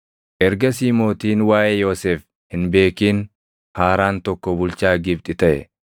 Ergasii mootiin waaʼee Yoosef hin beekin haaraan tokko bulchaa Gibxi taʼe.